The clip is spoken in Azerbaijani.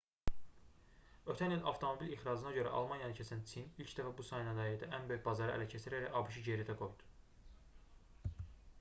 ötən il avtomobil ixracına görə almaniyanı keçən çin ilk dəfə bu sənayedə ən böyük bazarı ələ keçirərək abş-ı geridə qoydu